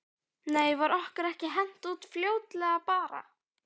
Nei var okkur ekki hent út fljótlega bara?